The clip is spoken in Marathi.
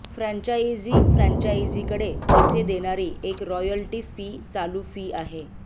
फ्रँचाइझी फ्रान्चायझीकडे पैसे देणारी एक रॉयल्टी फी चालू फी आहे